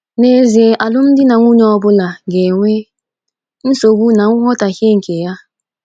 N’ezie, alụmdi na nwunye ọ bụla ga - enwe nsogbu na nghọtahie nke ya.